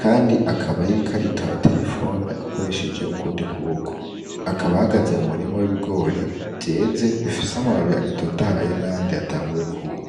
kandi akaba yiriko arito aba telefoni akoresheje ukundi kuboko akaba ahagaze mu murimo w'ibigori vyeze bifise amababiri agitotahye nayandi yatanguye kwuma.